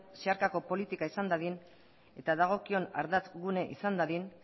zeharkako politika izan dadin eta dagokion ardatz gune izan dadin